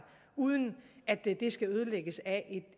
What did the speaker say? uden at det skal ødelægges af